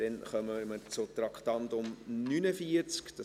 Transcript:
Wir kommen zum Traktandum 49.